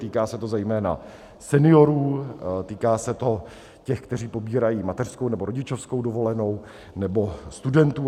Týká se to zejména seniorů, týká se to těch, kteří pobírají mateřskou nebo rodičovskou dovolenou, nebo studentů.